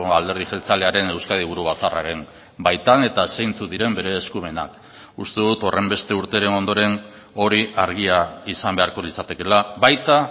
alderdi jeltzalearen euskadi buru batzarraren baitan eta zeintzuk diren bere eskumenak uste dut horrenbeste urteren ondoren hori argia izan beharko litzatekeela baita